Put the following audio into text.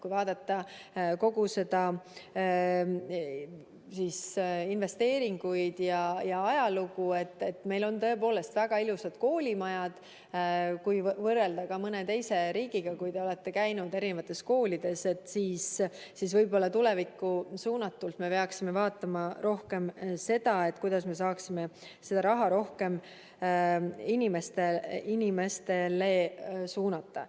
Kui vaadata kogu investeeringute ajalugu, siis meil on tõepoolest väga ilusad koolimajad, kui võrrelda mõne teise riigiga – kui te olete käinud koolides –, aga võib-olla tulevikus me peaksime vaatama rohkem seda, kuidas me saaksime raha rohkem inimestele suunata.